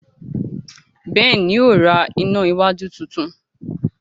Ben yíò rá iná iná wájú títún